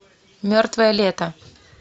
мертвое лето